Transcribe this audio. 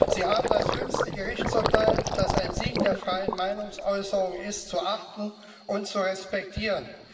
Sie haben das jüngste Gerichtsurteil, das ein Sieg der freien Meinungsäußerung ist, zu achten und zu respektieren.